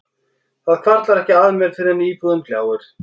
Það hvarflar ekki að mér fyrr en íbúðin gljáir.